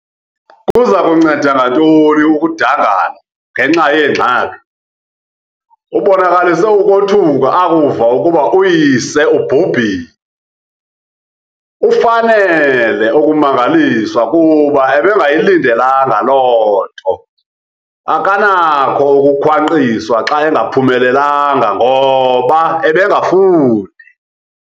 Kuza kunceda ngantoni ukudangala ngenxa yeengxaki. ubonakalise ukothuka akuva ukuba uyise ubhubhile, ufanele ukumangaliswa kuba ebengayilidelanga loo nto, akanakho ukukhwankqiswa xa engaphumelelanga ngoba ebengafundi